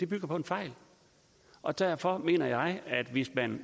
bygger på en fejl og derfor mener jeg at hvis man